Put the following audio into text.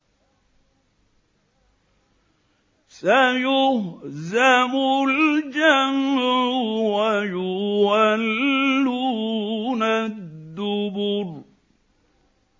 سَيُهْزَمُ الْجَمْعُ وَيُوَلُّونَ الدُّبُرَ